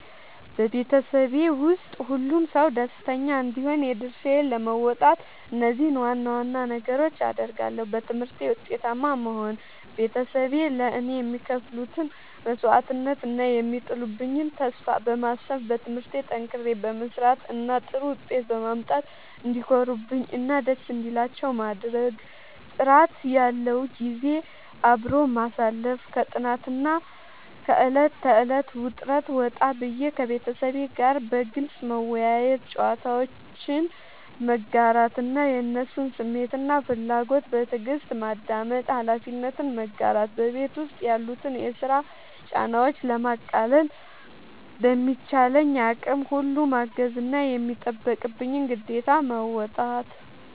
በቤተሰቤ ውስጥ ሁሉም ሰው ደስተኛ እንዲሆን የድርሻዬን ለመወጣት እነዚህን ዋና ዋና ነገሮች አደርጋለሁ፦ በትምህርቴ ውጤታማ መሆን፦ ቤተሰቤ ለእኔ የሚከፍሉትን መስዋዕትነት እና የሚጥሉብኝን ተስፋ በማሰብ፣ በትምህርቴ ጠንክሬ በመስራት እና ጥሩ ውጤት በማምጣት እንዲኮሩብኝ እና ደስ እንዲላቸው ማድረግ። ጥራት ያለው ጊዜ አብሮ ማሳለፍ፦ ከጥናትና ከዕለት ተዕለት ውጥረት ወጣ ብዬ፣ ከቤተሰቤ ጋር በግልጽ መወያየት፣ ጨዋታዎችን መጋራት እና የእነሱን ስሜትና ፍላጎት በትዕግስት ማዳመጥ። ኃላፊነትን መጋራት፦ በቤት ውስጥ ያሉትን የስራ ጫናዎች ለማቃለል በሚቻለኝ አቅም ሁሉ ማገዝና የሚጠበቅብኝን ግዴታ መወጣት።